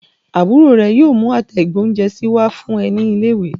Àbúrò rẹ yóò mú àtẹ ìgbóhúnjẹsí wá fún ẹ ní ilé ìwé